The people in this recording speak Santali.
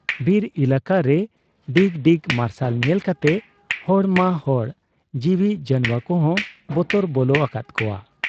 ᱵᱤᱨ ᱮᱞᱟᱠᱟ ᱨᱮ ᱰᱤᱜᱽ ᱰᱤᱜᱽ ᱢᱟᱨᱥᱟᱞ ᱧᱮᱞ ᱠᱟᱛᱮ ᱦᱚᱲ ᱢᱟ ᱦᱚᱲ ᱡᱤᱣᱤ ᱡᱟᱱᱶᱟ ᱠᱚᱦᱚᱸ ᱵᱚᱛᱚᱨ ᱵᱚᱞᱚ ᱟᱠᱟᱫ ᱠᱚᱣᱟ ᱾